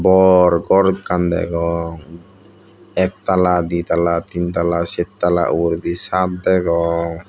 bor ghor ekkan degong ektala ditala teentala sertala uguredi chad degong.